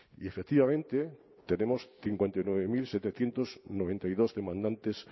y efectivamente tenemos cincuenta y nueve mil setecientos noventa y dos demandantes